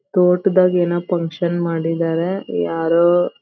ತೋಟದಾಗ್ ಏನೋ ಫಂಕ್ಷನ್ ಮಾಡಿದರೆ ಯಾರೋ.